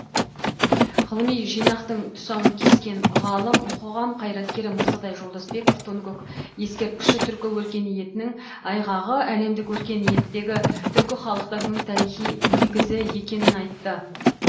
ғылыми жинақтың тұсауын кескен ғалым қоғам қайраткері мырзатай жолдасбеков тоныкөк ескерткіші түркі өркениетінің айғағы әлемдік өркениеттегі түркі халықтарының тарихи негізі екенін айтты